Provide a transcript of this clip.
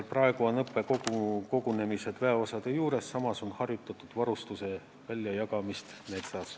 Praegu on õppekogunemised väeosade juures, samas on harjutatud varustuse väljajagamist metsas.